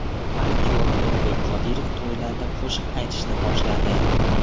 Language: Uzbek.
Aktyor Ulug‘bek Qodirov to‘ylarda qo‘shiq aytishni boshladi.